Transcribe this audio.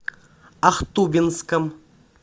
ахтубинском